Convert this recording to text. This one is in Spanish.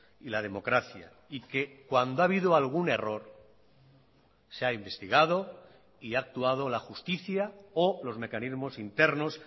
y la democracia y que cuando ha habido algún error se ha investigado y ha actuado la justicia o los mecanismos internos